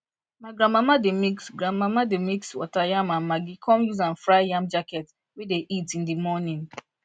my granmama dey mix granmama dey mix water yam and maggi con use am fry yam jacket wey dey eat in the morning